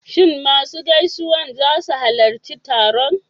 Shin masu gaisawan za su halarci taron?